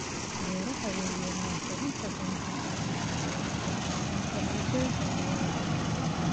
Beeraha waaweyni waxay inta badan shaqaaleeyaan boqollaal shaqaale inta lagu jiro xilliga goosashada.